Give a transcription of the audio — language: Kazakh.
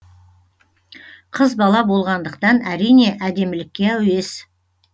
қыз бала болғандықтан әрине әдемілікке әуес